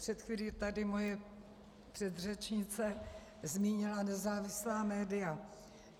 Před chvílí tady moje předřečnice zmínila nezávislá média.